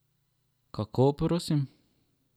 Kako, prosim?